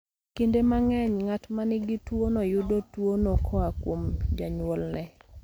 Kinde mang'eny, ng'at ma nigi tuwono yudo tuwono koa kuom janyuolne.